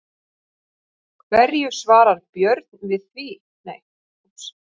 Hverju svarar Björn því?